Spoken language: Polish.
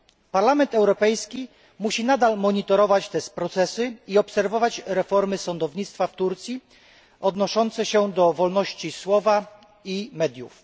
Parlament Europejski musi nadal monitorować te procesy i obserwować reformy sądownictwa w Turcji odnoszące się do wolności słowa i mediów.